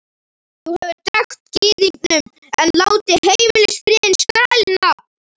Þú hefur drekkt Gyðingnum en látið Heimilisfriðinn skrælna!